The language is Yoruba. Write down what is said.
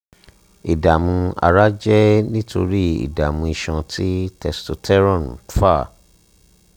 ìdààmú ara jẹ́ nítorí ìdààmú iṣan tí testosterone ń fà